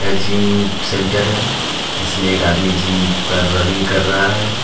Gym centre है जिसमें एक आदमी जिम कर रनिंग कर रहा है।